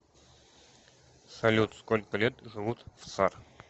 салют сколько лет живут в цар